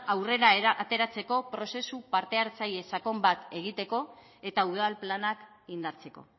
aurrera ateratzeko prozesu parte hartzaile sakon bat egiteko eta udal planak indartzeko